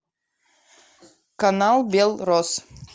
канал белрос